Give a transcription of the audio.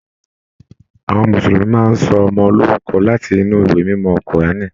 Àwọn Mùsùlùmí máa n sọ ọmọ lorúkọ láti inú ìwé mímọ kuraani.